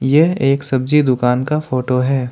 यह एक सब्जी दुकान का फोटो है।